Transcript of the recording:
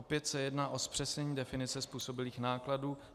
Opět se jedná o zpřesnění definice způsobilých nákladů.